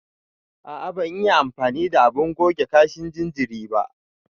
A a ban iya amfani da abun goge kashin jinjiri ba.